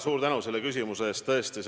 Suur tänu selle küsimuse eest!